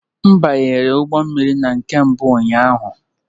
M banyere ụgbọ mmiri na nke mbụ ụnyaahụ